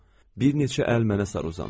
Bir neçə əl mənə sarı uzandı.